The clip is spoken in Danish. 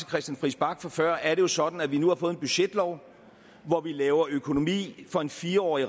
christian friis bach fra før er det jo sådan at vi nu har fået en budgetlov hvor vi laver økonomi for en fireårig